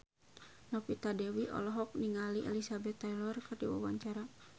Novita Dewi olohok ningali Elizabeth Taylor keur diwawancara